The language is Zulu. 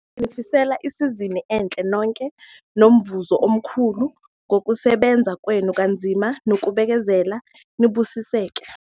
Nginifisela isizini enhle nonke nomvuzo omkhulu ngokusebenza kwenu kanzima nokubekezela - niBusiseke!